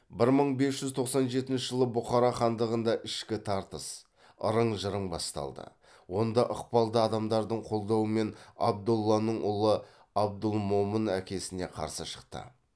бір мың бес жүз тоқсан жетінші жылы бұхар хандығында ішкі тартыс ырың жырың басталды онда ықпалды адамдардың қолдауымен абдолланың ұлы абдылмомын әкесіне қарсы шықты